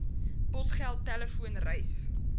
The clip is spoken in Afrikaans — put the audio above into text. posgeld telefoon reis